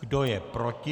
Kdo je proti?